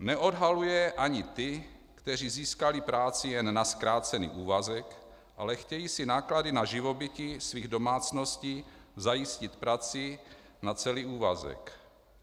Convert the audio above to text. Neodhaluje ani ty, kteří získali práci jen na zkrácený úvazek, ale chtějí si náklady na živobytí svých domácností zajistit prací na celý úvazek.